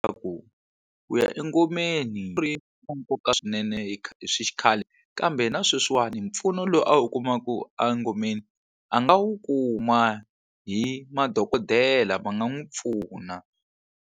Ku ku ya engomeni wa nkoka swinene hi hi swi xikhale kambe na sweswiwani mpfuno lowu a wu kumaku engomeni a nga wu kuma hi madokodela va nga n'wi pfuna.